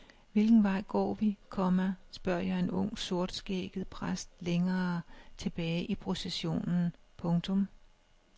Hvilken vej går vi, komma spørger jeg en ung sortskægget præst længere tilbage i processionen. punktum